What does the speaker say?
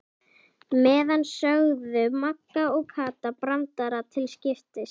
meðan sögðu Magga og Kata brandara til skiptis.